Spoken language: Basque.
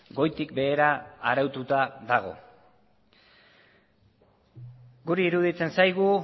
goitik behera araututa dago guri iruditzen zaigu